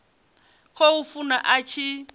khou funa a tshi a